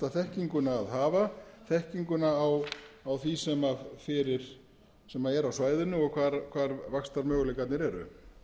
þekkinguna að hafa þekkinguna á því sem er á svæðinu og hvar vaxtarmöguleikarnir eru